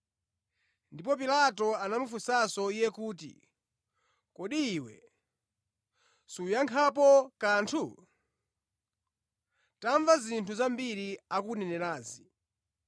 Ndipo Pilato anamufunsanso Iye kuti, “Kodi Iwe suyankhapo kanthu? Tamva zinthu zambiri akukunenerazi.”